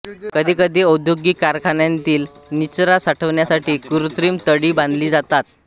कधीकधी अौद्योगिक कारखान्यांतील निचरा साठवण्यासाठी कृत्रिम तळी बांधली जातात